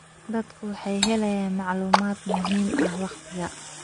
Dadku waxay helayaan macluumaad muhiim ah waqtiga.